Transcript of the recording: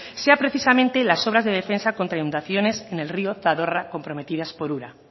sea precisamente las obras de defensa contra inundaciones en el río zadorra comprometidas por ura